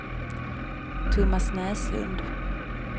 Thomas Näslund